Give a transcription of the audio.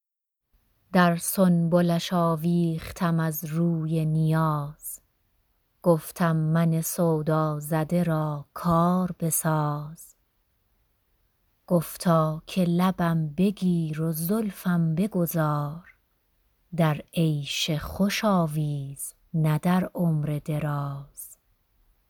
در سنبلش آویختم از روی نیاز گفتم من سودازده را کار بساز گفتا که لبم بگیر و زلفم بگذار در عیش خوش آویز نه در عمر دراز